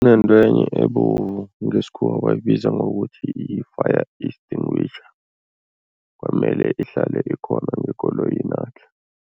Kunentwenye ebovu ngesikhuwa bayibiza ngokuthi yi-fire extinguisher kwamele ihlale ikhona ngekoloyinakhe.